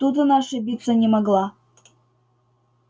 тут она ошибиться не могла